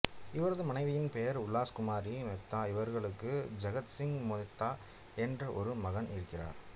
இவரது மனைவியின் பெயர் உலாஸ் குமாரி மேத்தா இவர்களுக்கு ஜகத் சிங் மேத்தா என்ற ஒரு மகன் இருக்கிறார்